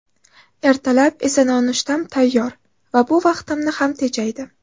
Ertalab esa nonushtam tayyor va bu vaqtimni ham tejaydi.